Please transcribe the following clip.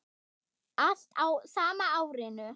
Allt á sama árinu.